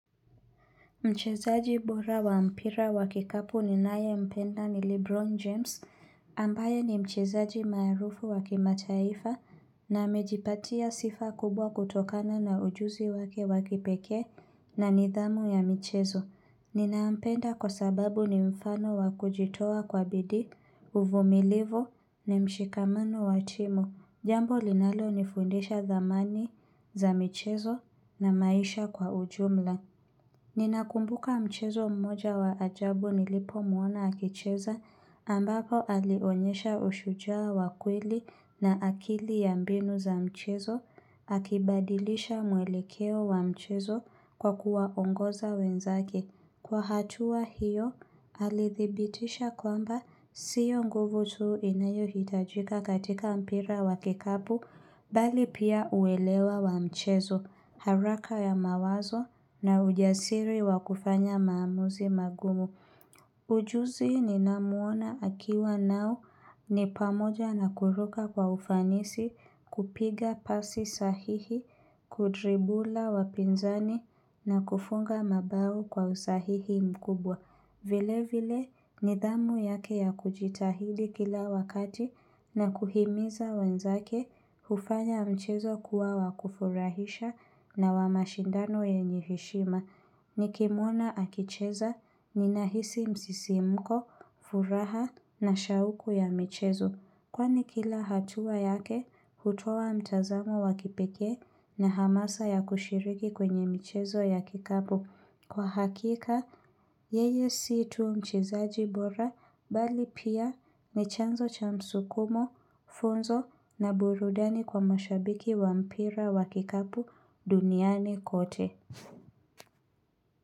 Mchezaji bora wa mpira wa kikapu ninaye mpenda ni Lebron James, ambaye ni mchezaji marufu wa kimataifa na amejipatia sifa kubwa kutokana na ujuzi wake wakipeke na nidhamu ya michezo. Ninaampenda kwa sababu ni mfano wa kujitowa kwa bidi, uvumilivu, ni mshikamano wa timu. Jambo linalo nifundisha dhamani za michezo na maisha kwa ujumla. Ninakumbuka mchezo mmoja wa ajabu nilipomuona akicheza ambapo alionyesha ushujaa wakweli na akili ya mbinu za mchezo akibadilisha mwelekeo wa mchezo kwa kuwaongoza wenzake. Kwa hatua hiyo, alithibitisha kwamba siyo nguvu tuu inayo hitajika katika mpira wa kikapu, bali pia uelewa wa mchezo, haraka ya mawazo na ujasiri wa kufanya maamuzi magumu. Ujuzi ni namuona akiwa nao ni pamoja na kuruka kwa ufanisi kupiga pasi sahihi, kudribula wapinzani na kufunga mabao kwa usahihi mkubwa. Vile vile nidhamu yake ya kujitahili kila wakati na kuhimiza wenzake hufanya mchezo kuwa wakufurahisha na wamashindano yenye heshima. Ni kimuona akicheza ni nahisi msisimuko, furaha na shauku ya michezo. Kwani kila hatua yake, hutoa mtazamo wakipeke na hamasa ya kushiriki kwenye mchezo ya kikabu. Kwa hakika, yeye situ mchezaji bora bali pia ni chanzo cha msukumo, funzo na burudani kwa mashabiki wa mpira wa kikapu duniani kote.